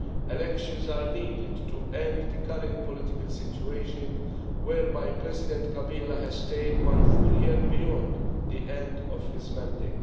Elections are needed to end the current political situation, whereby President Kabila has stayed one full year beyond the end of his mandate.